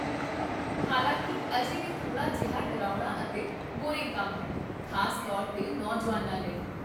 ਹਲਾਂਕਿ, ਅਜੇ ਵੀ ਥੋੜਾ ਜਿਹਾ ਡਰਾਉਣਾ ਅਤੇ ਬੋਰਿੰਗ ਕੰਮ ਹੈ, ਖ਼ਾਸ ਤੌਰ 'ਤੇ ਨੌਜੁਆਨਾਂ ਲਈ